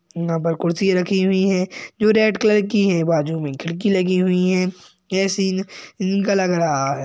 यहां पर कुर्सियां रखी हुई हैं जो रेड कलर की हैं बाजू में खिड़की लगी हुई हैं | यह सीन लग रहा है।